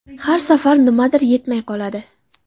Har safar nimadir yetmay qoladi.